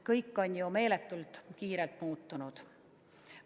Kõik on meeletult kiiresti muutunud.